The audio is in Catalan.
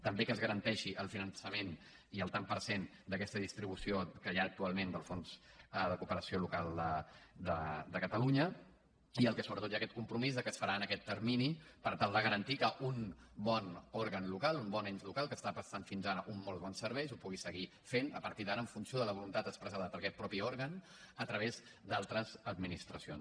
també que es garanteixi el finançament i el tant per cent d’aquesta distribució que hi ha actualment del fons de cooperació local de catalunya i el que sobretot hi ha és aquest compromís de que es farà en aquest termini per tal de garantir que un bon òrgan local un bon ens local que està prestant fins ara uns molt bons serveis ho pugui seguir fent a partir d’ara en funció de la voluntat expressada per aquest mateix òrgan a través d’altres administracions